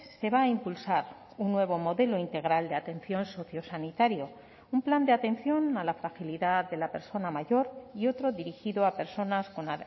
se va a impulsar un nuevo modelo integral de atención sociosanitario un plan de atención a la fragilidad de la persona mayor y otro dirigido a personas con